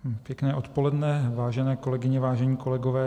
Pěkné odpoledne, vážené kolegyně, vážení kolegové.